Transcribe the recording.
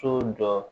So jɔ